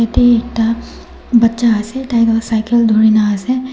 yate ekta baccha ase taiga cycle dhori na ase.